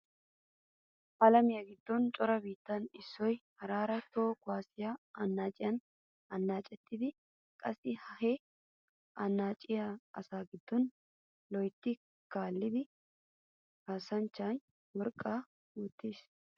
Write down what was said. Alamiya giddon cora biittay issoy haraara toho kuwaassiya annaaciya annaacettees. Qassi he annaacettiya asaa giddon loytti kaa'ida kaassanchchay worqqaa woytettees.